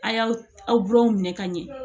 A y'aw gulɔw minɛ ka ɲɛ